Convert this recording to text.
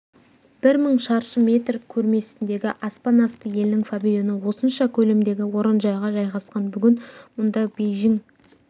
бір мың шаршы метр көрмесіндегі аспан асты елінің павильоны осынша көлемдегі орынжайға жайғасқан бүгін мұнда бейжің